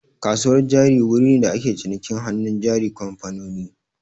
Kasuwar jari wuri ne da ake cinikin hannun jarin kamfanoni